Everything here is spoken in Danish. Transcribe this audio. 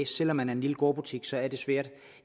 selv om man er en lille gårdbutik så er det svært